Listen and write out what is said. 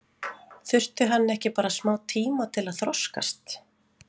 Þurfti hann ekki bara smá tíma til að þroskast?